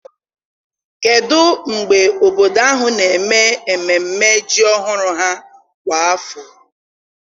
kedụ mgbe obodo ahụ na-eme ememme ham ọhụrụ ha kwa afọ?